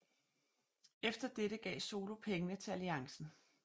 Efter dette gav Solo pengene til Alliancen